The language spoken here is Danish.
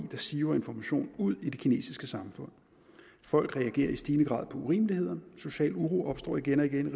der siver information ud i det kinesiske samfund folk reagerer i stigende grad på urimeligheder social uro opstår igen og igen